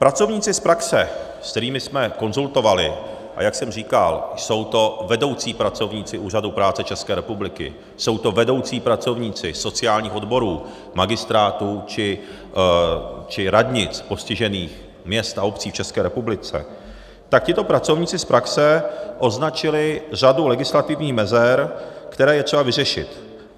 Pracovníci z praxe, s kterými jsme konzultovali, a jak jsem říkal, jsou to vedoucí pracovníci Úřadu práce České republiky, jsou to vedoucí pracovníci sociálních odborů magistrátů či radnic postižených měst a obcí v České republice, tak tito pracovníci z praxe označili řadu legislativních mezer, které je třeba vyřešit.